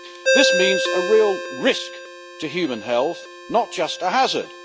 This means a real risk to human health not just a hazard.